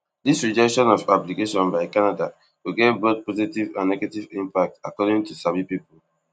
dis rejection of application by canada go get both positive and negative impact according to sabi pipo